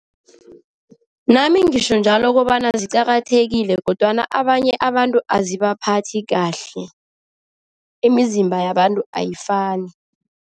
Nami ngisho njalo kobana ziqakathekile kodwana abanye abantu azibaphathi kahle, imizimba yabantu ayifani.